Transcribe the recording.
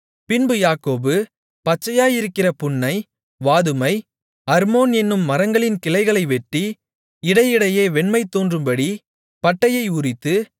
பின்பு யாக்கோபு பச்சையாயிருக்கிற புன்னை வாதுமை அர்மோன் என்னும் மரங்களின் கிளைகளை வெட்டி இடையிடையே வெண்மை தோன்றும்படி பட்டையை உரித்து